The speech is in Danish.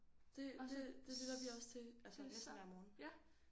Det det det lytter vi også til altså næsten hver morgen